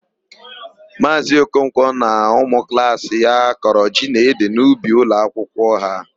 Maazị Okonkwọ na ụmụklaasị ya kọrọ ji na ede n'ubi ụlọakwụkwọ ha.